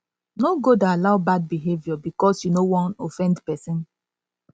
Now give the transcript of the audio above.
no go dey allow bad behavior bikos yu no wan offend pesin